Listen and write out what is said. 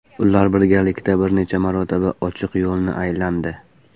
Ular birgalikda bir necha marotaba ochiq yo‘lni aylandi.